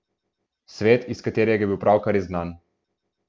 Svet, iz katerega je bil pravkar izgnan.